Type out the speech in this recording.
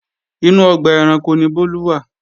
Inú ọgbà ẹranko ni Bólú wà